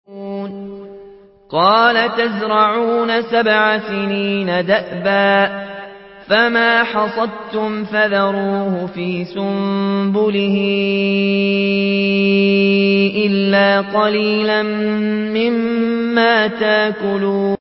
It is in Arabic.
قَالَ تَزْرَعُونَ سَبْعَ سِنِينَ دَأَبًا فَمَا حَصَدتُّمْ فَذَرُوهُ فِي سُنبُلِهِ إِلَّا قَلِيلًا مِّمَّا تَأْكُلُونَ